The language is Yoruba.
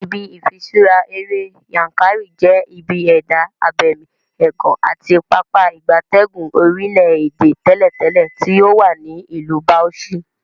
Ibi ifiṣura ere Yankari je ibi eda abemi egan ati Pápá ìgbatẹ́gùn orile-ede teletele ti owa ni Ilu Bauchi.